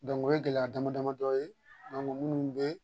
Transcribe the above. o ye gɛlɛya damadamadɔ ye minnu bɛ